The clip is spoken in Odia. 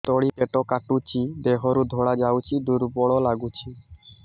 ତଳି ପେଟ କାଟୁଚି ଦେହରୁ ଧଳା ଯାଉଛି ଦୁର୍ବଳ ଲାଗୁଛି